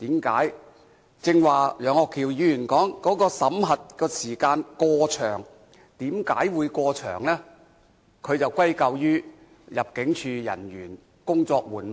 根據我的理解，他似乎是歸咎於入境事務處人員工作緩慢。